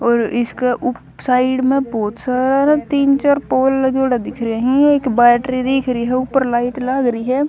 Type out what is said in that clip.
और इसकह ऊप साइड म बहुत सारा तीन च्यार पोल लग्याडो दिख रया हं एक बैटरी दिख री ह ऊपर लाइट लाग री ह ।